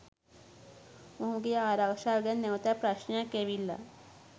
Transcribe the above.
මොහුගේ ආරක්ෂාව ගැන නැවතත් ප්‍රශ්නයක් ඇවිල්ලා.